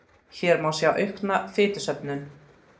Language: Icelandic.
Hér má sjá aukna fitusöfnun.